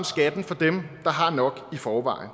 skatten for dem der har nok i forvejen